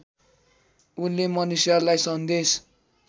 उनले मनुष्यलाई सन्देश